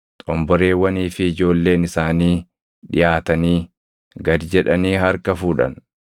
Xomboreewwanii fi ijoolleen isaanii dhiʼaatanii gad jedhanii harka fuudhan.